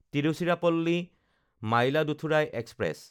তিৰুচিৰাপল্লী–মাইলাদুথুৰাই express